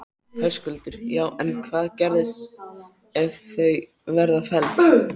Höskuldur: Já en hvað gerist ef að þau verða felld?